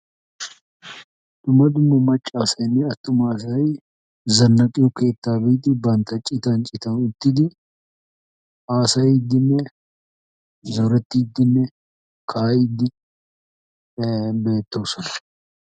Dumma dumma maccasaynne attumasay zannaxxiyo keettaa biidi bantta citan citan uttidi haassayddine zoretidinne kaa'ide bettoosona.